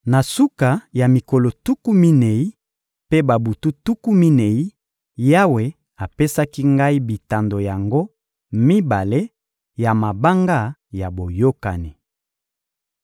Na suka ya mikolo tuku minei mpe babutu tuku minei, Yawe apesaki ngai bitando yango mibale ya mabanga ya boyokani.